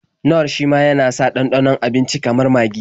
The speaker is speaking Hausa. Nor shima yana sa ɗanɗanon abinici kamar magi.